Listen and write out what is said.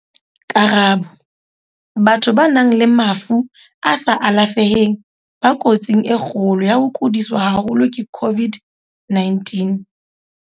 Karabo- Batho ba nang le mafu a sa alafeheng ba ko tsing e kgolo ya ho kodiswa haholo ke COVID-19.